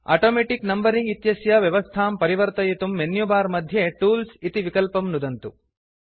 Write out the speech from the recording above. automatic numbering इत्यस्य व्यवस्थां परिवर्तयितुं मेन्युबार् मध्ये टूल्स् इति विकल्पं नुदन्तु